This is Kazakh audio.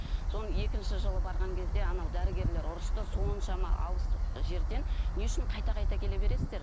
сол екінші жылы барған кезде анау дәрігерлер ұрысты соншама алыс жерден не үшін қайта қайта келе бересіздер